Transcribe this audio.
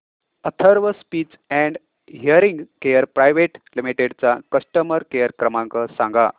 Atharva speech and hearing care private limited चा customer care क्रमांक सांगा